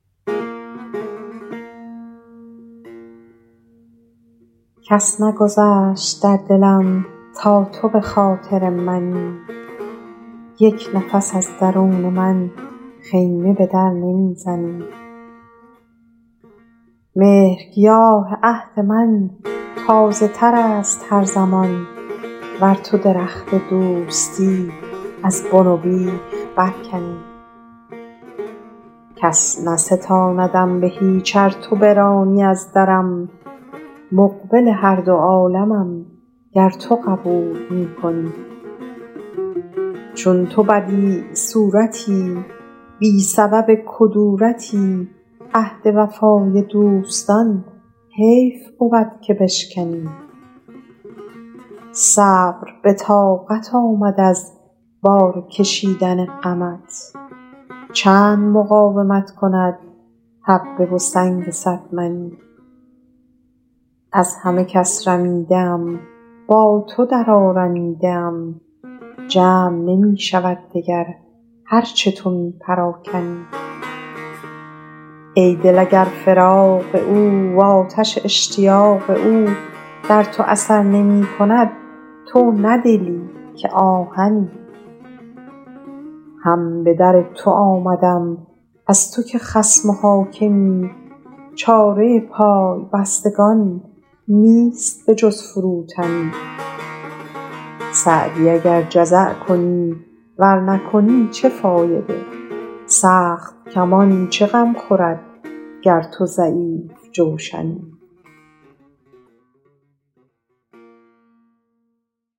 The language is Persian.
کس نگذشت در دلم تا تو به خاطر منی یک نفس از درون من خیمه به در نمی زنی مهرگیاه عهد من تازه تر است هر زمان ور تو درخت دوستی از بن و بیخ برکنی کس نستاندم به هیچ ار تو برانی از درم مقبل هر دو عالمم گر تو قبول می کنی چون تو بدیع صورتی بی سبب کدورتی عهد وفای دوستان حیف بود که بشکنی صبر به طاقت آمد از بار کشیدن غمت چند مقاومت کند حبه و سنگ صد منی از همه کس رمیده ام با تو درآرمیده ام جمع نمی شود دگر هر چه تو می پراکنی ای دل اگر فراق او وآتش اشتیاق او در تو اثر نمی کند تو نه دلی که آهنی هم به در تو آمدم از تو که خصم و حاکمی چاره پای بستگان نیست به جز فروتنی سعدی اگر جزع کنی ور نکنی چه فایده سخت کمان چه غم خورد گر تو ضعیف جوشنی